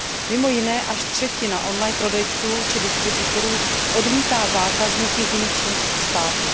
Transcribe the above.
Mimo jiné až třetina on line prodejců či distributorů odmítá zákazníky z jiných členských států.